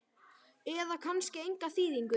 eða kannski enga þýðingu?